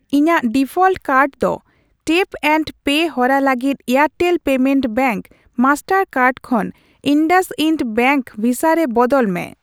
ᱤᱧᱟ.ᱜ default card ᱫᱚ tap and pay ᱦᱚᱨᱟ ᱞᱟᱹᱜᱤᱫ Airtel payment bank master card ᱠᱷᱚᱱ ᱤᱱᱫᱟᱥᱤᱱᱫ ᱵᱮᱝᱠ ᱵᱷᱤᱥᱟ ᱨᱮ ᱵᱚᱫᱚᱞ ᱢᱮ ᱾